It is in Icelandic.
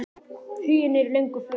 Huginn er í löngu flugi.